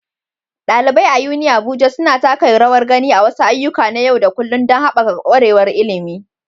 ɗalibai a UniAbuja suna taka rawar gani a wasu ayyuka na yau da kullun don haɓaka ƙwarewar ilimi.